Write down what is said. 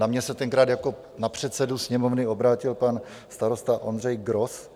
Na mě se tenkrát jako na předsedu Sněmovny obrátil pan starosta Ondřej Gros.